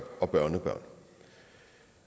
og børnebørn